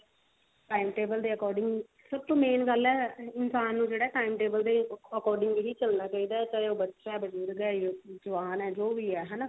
time table ਦੇ according ਸਭ ਤੋਂ main ਗੱਲ ਹੈ ਇਨਸਾਨ ਨੂੰ ਜਿਹੜਾ time table ਦੇ according ਹੀ ਚੱਲਣਾ ਚਾਹੀਦਾ ਚਾਹੇ ਉਹ ਬੱਚਾ ਹੈ ਬਜੁਰਗ ਹੈ ਜਵਾਨ ਹੈ ਜੋ ਵੀ ਹੈ ਹਨਾ